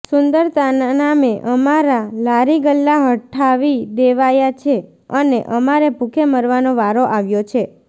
સુંદરતાના નામે અમારાં લારીગલ્લા હઠાવી દેવાયાં છે અને અમારે ભૂખે મરવાનો વારો આવ્યો છે